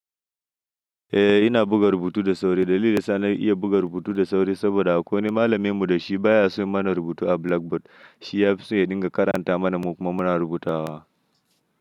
Eh ina buga rubutu da sauri. Dalili da sa na iya buga rubutu da sauri saboda akwai wani malamimu da shi baya son yin mana rubutu a blackboard. Shi ya fi so ya dinga karanta mana mu kuma muna rubutawa.